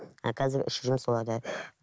ал қазір ішіп жүрмін соларды